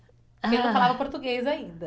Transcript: Ele não falava português ainda.